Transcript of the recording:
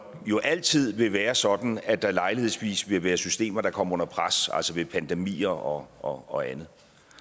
altid vil være sådan at der lejlighedsvis vil være systemer der kommer under pres altså ved pandemier og og andet